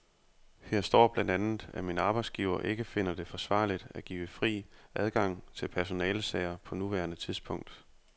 Her står blandt andet, at min arbejdsgiver ikke finder det forsvarligt at give fri adgang til personalesager på nuværende tidspunkt.